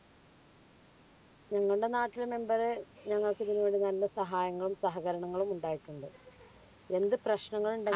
ഞങ്ങളുടെ നാട്ടിലെ member ഞങ്ങൾക്ക് ഇതിനു വേണ്ടുന്ന എല്ലാ സഹായങ്ങളും സഹകരണങ്ങളും ഉണ്ടായിട്ടുണ്ട്. എന്ത് പ്രശ്നങ്ങൾ ഉണ്ടെ